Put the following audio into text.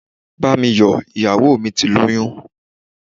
Bá mi yọ̀, iyawo mí tí loyún